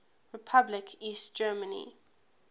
republic east germany